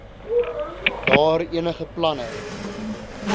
daar enige planne